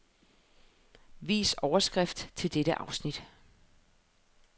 Vis overskrift til dette afsnit.